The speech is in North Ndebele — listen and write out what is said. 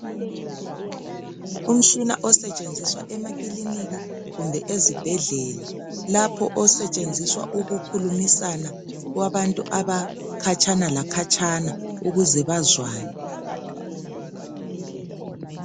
Umtshina osetshenziswa emakliniki kumbe ezibhedlela lapho osetshenziswa ukukhulumisana kwabantu abakhatshana lakhatshana ukuze bazwane